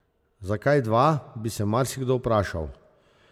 Zakaj dva, bi se marsikdo vprašal.